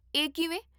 ਇਹ ਕਿਵੇਂ?